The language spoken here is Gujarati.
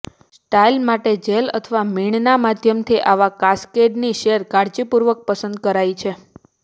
સ્ટાઇલ માટે જેલ અથવા મીણના માધ્યમથી આવા કાસ્કેડની સેર કાળજીપૂર્વક પસંદ કરાય છે